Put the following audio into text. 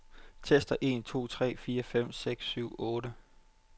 Tester en to tre fire fem seks syv otte.